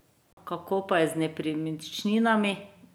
Kako pa je z nepremičninami?